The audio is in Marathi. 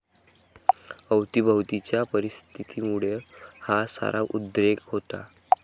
अवतीभवतीच्या परिस्थितीमुळं हा सारा उद्रेक होता.